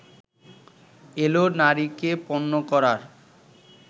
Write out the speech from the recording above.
এলো নারীকে পণ্য করার